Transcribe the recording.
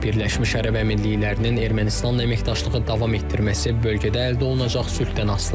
Birləşmiş Ərəb Əmirliklərinin Ermənistanla əməkdaşlığı davam etdirməsi bölgədə əldə olunacaq sülhdən asılıdır.